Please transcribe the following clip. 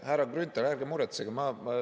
Härra Grünthal, ärge muretsege!